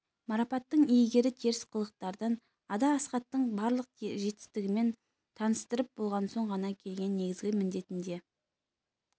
марапаттың иегері теріс қылықтардан ада асхаттың барлық жетістігімен таныстырып болған соң ғана келген негізгі міндетіне